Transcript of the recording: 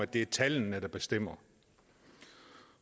det er tallene der bestemmer